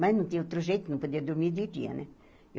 Mas não tinha outro jeito não podia dormir de dia, né?